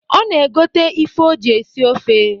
Ọ na egote ife o ji esi ofe.